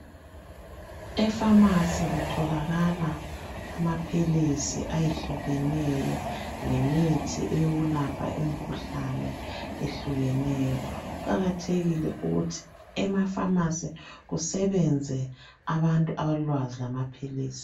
Efamasi kutholakala amaphilisi ayehlukeneyo lemithi eyokulapha imkhuhlane ehlukeneyo. Kuqakathekile ukuthi emafamasi kusebenze abantu abalolwazi lamaphilisi.